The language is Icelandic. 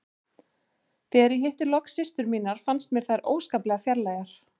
Þegar ég hitti loks systur mínar fannst mér þær óskaplega fjarlægar.